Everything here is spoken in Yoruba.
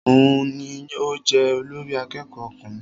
Òun ní o jẹ olórí àkẹ́kọ̀ọ ọkùnrin.